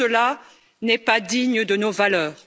Cela n'est pas digne de nos valeurs.